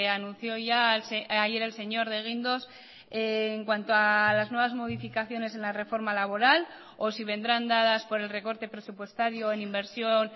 anunció ayer el señor de guindos en cuanto a las nuevas modificaciones en la reforma laboral o si vendrán dadas por el recorte presupuestario en inversión